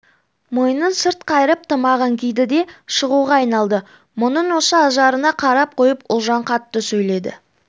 мойнын сырт қайырып тымағын киді де шығуға айналды мұның осы ажарына қарап қойып ұлжан қатты сөйледі